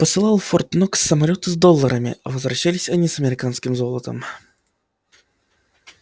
посылал в форт-нокс самолёты с долларами а возвращались они с американским золотом